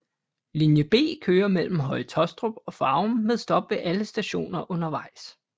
Linje B kører mellem Høje Taastrup og Farum med stop ved alle stationer undervejs